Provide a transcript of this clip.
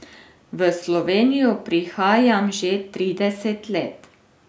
V Slovenijo prihajam že trideset let.